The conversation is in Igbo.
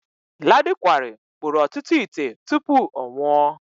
Ladi Kwali kpụrụ ọtụtụ ite tụpụ ọ nwụọ.